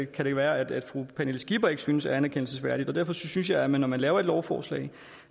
kan det være at fru pernille skipper ikke synes er anerkendelsesværdigt derfor synes jeg at man når man laver et lovforslag